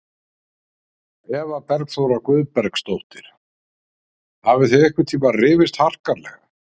Eva Bergþóra Guðbergsdóttir: Hafið þið einhvern tíma rifist harkalega?